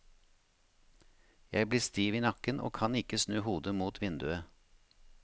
Jeg blir stiv i nakken, og kan ikke snu hodet mot vinduet.